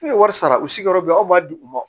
Ne ye wari sara u si yɔrɔ bɛɛ anw b'a di u ma